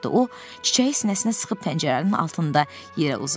O çiçəyi sinəsinə sıxıb pəncərənin altında yerə uzandı.